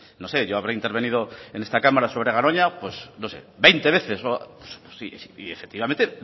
no sé yo habré intervenido en esta cámara sobre garoña pues no sé veinte veces y efectivamente